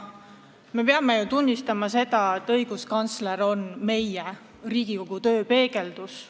Me peame ju tunnistama, et õiguskantsler on meie, Riigikogu töö peegeldus.